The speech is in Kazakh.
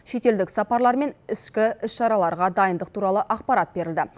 шетелдік сапарлар мен ішкі іс шараларға дайындық туралы ақпарат берілді